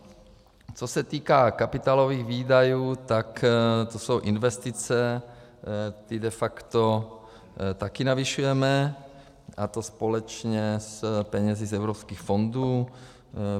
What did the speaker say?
Co se týká kapitálových výdajů, tak to jsou investice, ty de facto také navyšujeme, a to společně s penězi z evropských fondů.